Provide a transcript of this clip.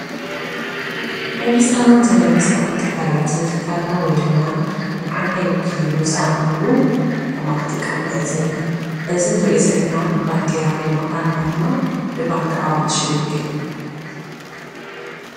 መንግስታውን ዘይመንግስታውን ትካላት ንትካልና ወይ ድማ ንዓና ይውክል ኢሉ ዝአመንሉ አርማ ክጥቀሙ ንዕዘብ ኢና:: እዚ ንሪኦ ዘለና ባንዴራ ወይ ድማ አርማ ድማ ንባንኪ አዋሽ ይውከል፡፡